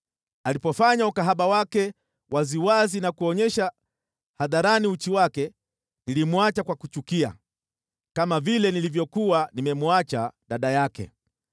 Alipofanya ukahaba wake waziwazi na kuonyesha hadharani uchi wake, nilimwacha kwa kumchukia, kama vile nilivyokuwa nimemwacha dada yake.